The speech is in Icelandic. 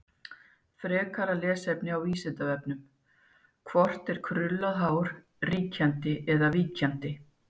Frekara lesefni á Vísindavefnum: Hvort er krullað hár ríkjandi eða víkjandi?